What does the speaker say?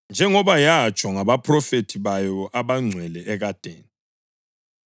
(njengoba yatsho ngabaphrofethi bayo abangcwele ekadeni),